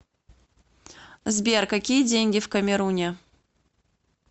сбер какие деньги в камеруне